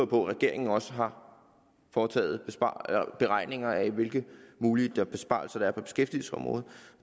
på at regeringen også har foretaget beregninger af hvilke mulige besparelser der er på beskæftigelsesområdet og